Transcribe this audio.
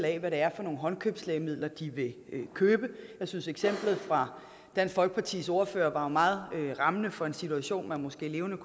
af hvad det er for nogle håndkøbslægemidler de vil købe jeg synes eksemplet fra dansk folkepartis ordfører var meget rammende for en situation man måske levende